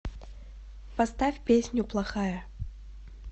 поставь песню плохая